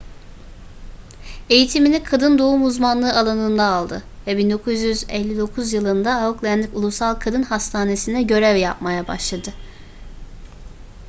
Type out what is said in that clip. eğitimini kadın doğum uzmanlığı alanında aldı ve 1959 yılında auckland ulusal kadın hastanesinde görev yapmaya başladı